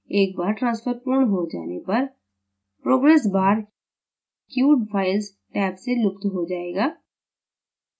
एक bar transfer पूर्ण हो जाने पर progress bar queued files tab से लुप्त हो जाएगा